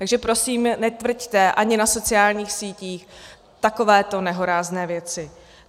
Takže prosím netvrďte, ani na sociálních sítích, takovéto nehorázné věci.